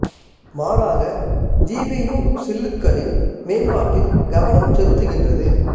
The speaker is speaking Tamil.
மாறாக ஜி பீ யூ சில்லுகளின் மேம்பாட்டில் கவனம் செலுத்துகின்றது